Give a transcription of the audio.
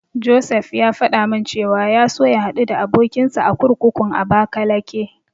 Josef ya faɗa min cewa ya so ya haɗu da abokinsa a kurkukun Abakalake.